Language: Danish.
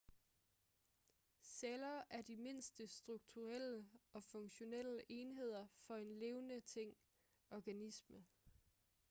celler er de mindste strukturelle og funktionelle enheder for en levende ting organisme